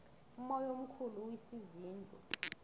umoya omkhulu uwisa izindlu